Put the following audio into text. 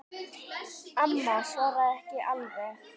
Amma svaraði ekki alveg strax.